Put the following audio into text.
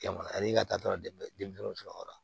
Jamana ani ka taa dɔrɔn denmisɛnw sɔngɔ la